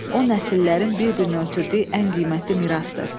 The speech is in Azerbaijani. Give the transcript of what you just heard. O nəsillərin bir-birinə ötürdüyü ən qiymətli mirasdır.